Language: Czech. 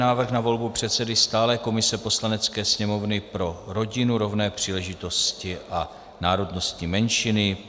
Návrh na volbu předsedy stálé komise Poslanecké sněmovny pro rodinu, rovné příležitosti a národnostní menšiny